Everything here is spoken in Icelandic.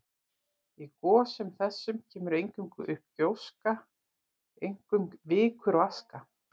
Í gosum þessum kemur eingöngu upp gjóska, einkum vikur og aska.